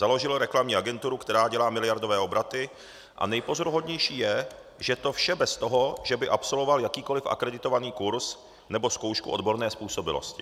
Založil reklamní agenturu, která dělá miliardové obraty, a nejpozoruhodnější je, že to vše bez toho, že by absolvoval jakýkoli akreditovaný kurz nebo zkoušku odborné způsobilosti.